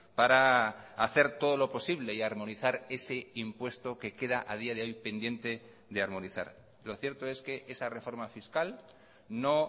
para hacer todo lo posible y armonizar ese impuesto que queda a día de hoy pendiente de armonizar lo cierto es que esa reforma fiscal no